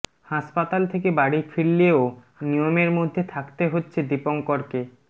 হাসপাতাল থেকে বাড়ি ফিরলেও নিয়মের মধ্যে থাকতে হচ্ছে দীপঙ্করকে